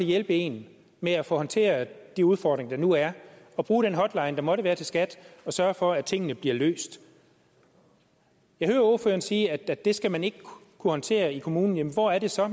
hjælpe en med at få håndteret de udfordringer der nu er og bruge den hotline der måtte være til skat og sørge for at tingene bliver løst jeg hører ordføreren sige at det skal man ikke kunne håndtere i kommunen jamen hvor er det så